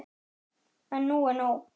En nú er nóg!